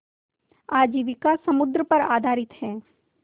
आजीविका समुद्र पर आधारित है